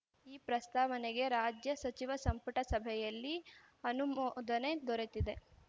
ಈ ಪ್ರಸ್ತಾವನೆಗೆ ರಾಜ್ಯ ಸಚಿವ ಸಂಪುಟ ಸಭೆಯಲ್ಲಿ ಅನುಮೋದನೆ ದೊರೆತಿದೆ